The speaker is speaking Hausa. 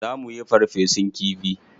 Za muyi farfesun kifi.